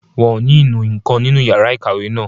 Wọn ò ní inú nǹkan nínú yàrá ìkàwé náà